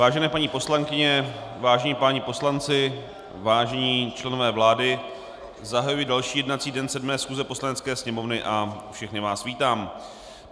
Vážené paní poslankyně, vážení páni poslanci, vážení členové vlády, zahajuji další jednací den 7. schůze Poslanecké sněmovny a všechny vás vítám.